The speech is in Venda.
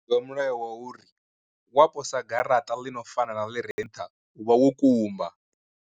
Mulayo wa uri wa posa garaṱa ḽi no fana na ḽire nṱha u vha wo kumba.